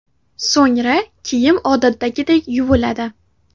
So‘ngra kiyim odatdagidek yuviladi.